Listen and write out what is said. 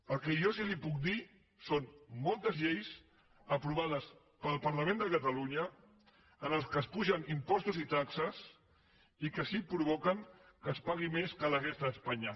el que jo sí li puc dir són moltes lleis aprovades pel parlament de catalunya en les quals s’apugen impostos i taxes i que sí provoquen que es pagui més que la resta d’espanya